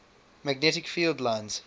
magnetic field lines